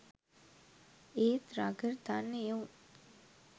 ඒත් රගර් දන්න එවුන්